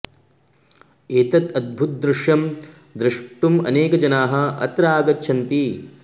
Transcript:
एतद् अद्भुतं दृश्यं द्रष्टुम् अनेके जनाः अत्र आगच्छन्ति